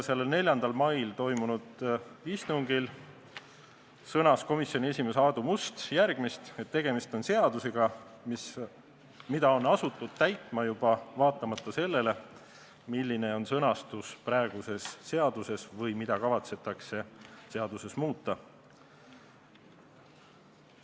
Sellel 4. mail toimunud istungil sõnas komisjoni esimees Aadu Must, et tegemist on seadusega, mida on asutud täitma juba vaatamata sellele, milline on sõnastus praeguses seaduses, või sellele, mida kavatsetakse seaduses muuta.